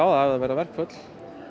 það verða verkföll